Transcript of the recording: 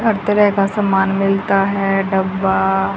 हर तरह का समान मिलता है डब्बा--